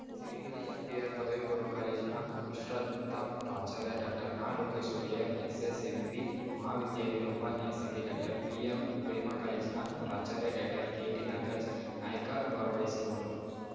Sirigere MBR ಪದವಿ ಪೂರ್ವ ಕಾಲೇಜಿನ ವಿಶ್ರಾಂತ ಪ್ರಾಚಾರ್ಯ ಡಾಕ್ಟರ್ ನಾ ಲೋಕೇಶ್ ಒಡೆಯರ್‌ ಎಸ್‌ಎಸ್‌ಎಂಬಿ ಮಹಾವಿದ್ಯಾಲಯದ ಉಪನ್ಯಾಸಕಿ ಡಾಕ್ಟರ್ ಪಿಎಂ ಪ್ರೇಮ ಕಾಲೇಜಿನ ಪ್ರಾಚಾರ್ಯ ಡಾಕ್ಟರ್ ಕೆಟಿ ನಾಗರಾಜ್ ನಾಯ್ಕ ಭಾಗವಹಿಸಿರುವರು